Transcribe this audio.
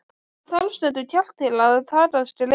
Það þarf stundum kjark til að taka skrefið.